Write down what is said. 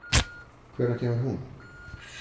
Hvenær kemur hún?